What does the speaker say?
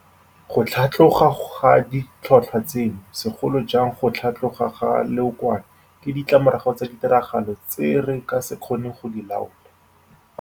Go tlhatloga ga ditlhotlhwa tseno, segolo jang go tlhatloga ga leokwane, ke ditlamorago tsa ditiragalo tse re ka se kgoneng go di laola.